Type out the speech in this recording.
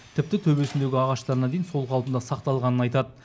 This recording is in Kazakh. тіпті төбесіндегі ағаштарына дейін сол қалпында сақталғанын айтады